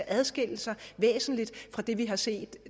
adskille sig væsentligt fra det vi har set